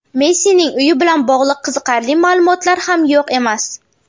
Messining uyi bilan bog‘liq qiziqarli ma’lumotlar ham yo‘q emas.